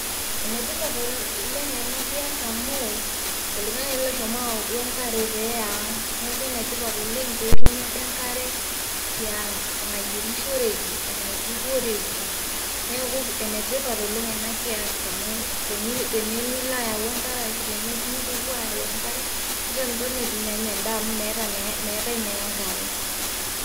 ene tipat oleng ena kias amu oltungani osohomo ele ayau enkare pee eya ang' neeeku ene tipat oleng pee etumi ade enkare tiang',nayierishoreki, enaitukuoreki. neeku entipat oleng ena kias, amu tenimilo ayau enkare ashu tenipuopuo aayau enkare nitiinitoni eitu inyianya edaa amu meetae naa enkare.